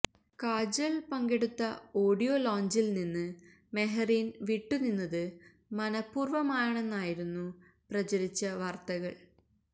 കാജല് പങ്കെടുത്ത ഓഡിയോ ലോഞ്ചില് നിന്ന് മെഹറീന് വിട്ടുനിന്നത് മനപൂര്വ്വമാണെന്നായിരുന്നു പ്രചരിച്ച വാര്ത്തകള്